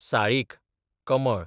साळीक, कमळ